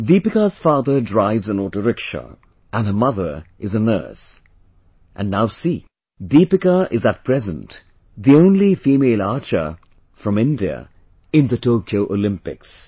Deepika's father drives an auto rickshaw and her mother is a nurse, and now see, Deepika is at present the only female archer from India in the Tokyo Olympics